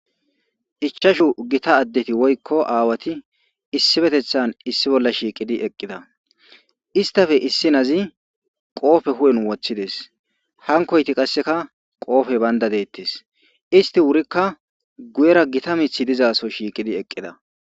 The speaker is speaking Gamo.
ichashu gita addeti woykko aawati issibetethan issi bolla shiiqidi eqqida istafe issi nazi qoofe hu7en woththides hankoyti qasseka qoofe baynda deettes isti wurikka guyera gita mithi dizaso shiiqidi eqqida